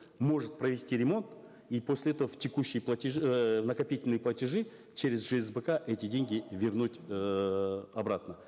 может провести ремонт и после этого в текущие платежи эээ в накопительные платежи через жсбк эти деньги вернуть эээ обратно